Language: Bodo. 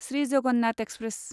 श्री जगन्नाथ एक्सप्रेस